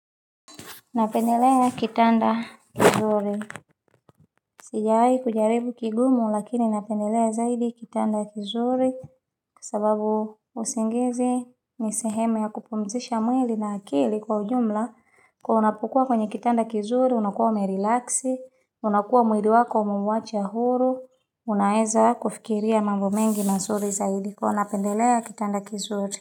Napendelea kitanda kizuri. Sijai jaribu kigumu lakini napendelea zaidi kitanda kizuri. Kwa sababu usingizi nisehemu ya kupumzisha mwili na akili kwa ujumla. Kwa unapokua kwenye kitanda kizuri unakuwa merilaksi. Unakuwa mwili wako umemwacha huru. Unaeza kufikiria mambo mengi na zuri zaidi. Kwa unapendelea kitanda kizuri.